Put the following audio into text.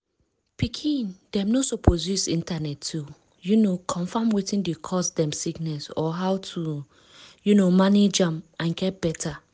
mek una no believe any health talk for online quick quick. check where e come from well well before una follow am to treat sickness.